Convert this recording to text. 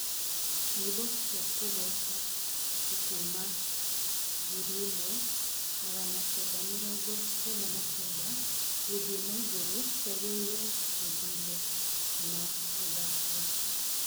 nyĩmbo cĩa kugoca tu kũma ngiriĩmwe magana kenda mĩrongo kenda na kenda guthii na iguru ciagiriirwo guthurwo na guthakwo